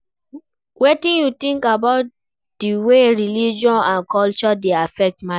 Wetin you think about di way religion and culture dey affect marriage?